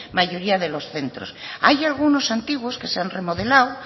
mayoría de los centros hay algunos antiguos que se han remodelado